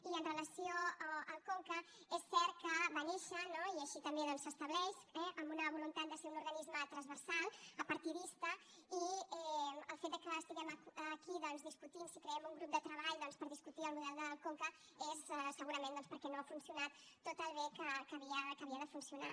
i amb relació al conca és cert que va néixer i així també doncs s’estableix eh amb una voluntat de ser un organisme transversal apartidista i el fet que estiguem aquí doncs discutint si creem un grup de treball per discutir el model del conca és segurament perquè no ha funcionat tan bé com havia de funcionar